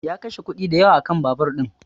Ya kashe kuɗi dayawa a kan babur ɗin